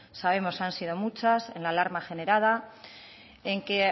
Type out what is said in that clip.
sabemos han sido muchas en la alarma generada en que